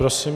Prosím.